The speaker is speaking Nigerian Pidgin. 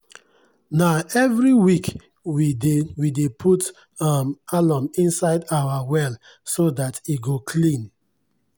na every week we dey we dey put um alum inside our well so dat e go clean.